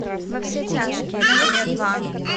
во все тяжкие серия два